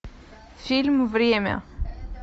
фильм время